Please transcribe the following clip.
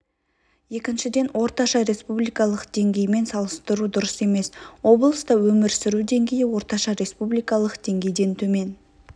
екіншіден орташа республикалық деңгеймен салыстыру дұрыс емес облыста өмір сүру деңгейі орташа республикалық деңгейден төмен